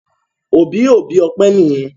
Òbí òbí Ope níyen.